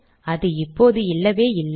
அது இப்போது இல்லவே இல்லை